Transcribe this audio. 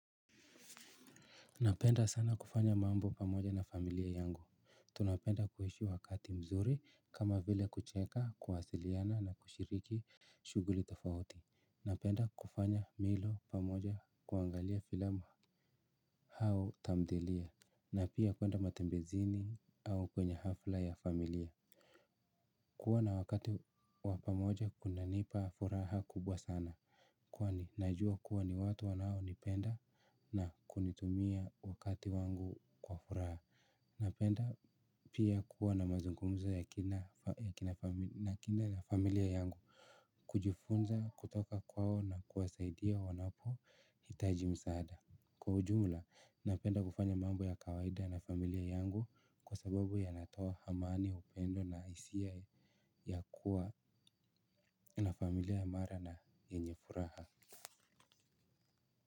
Napenda sana kufanya mambo pamoja na familia yangu tunapenda kuishi wakati mzuri kama vile kucheka kuwasiliana na kushiriki shughuli tofauti napenda kufanya milo pamoja kuangalia filamu au tamthilia na pia kwenda matembezini au kwenye hafla ya familia. Kuwa na wakati wa pamoja kunanipa furaha kubwa sana kwani najua kuwa ni watu wanaonipenda na kunitumia wakati wangu kwa furaha napenda pia kuwa na mazungumzo ya kina na familia yangu kujifunza kutoka kwao na kuwasaidia wanapohitaji msaada kwa ujumla, napenda kufanya mambo ya kawaida na familia yangu kwa sababu yanatoa amani, upendo na hisia ya kuwa na familia imara na yenye furaha.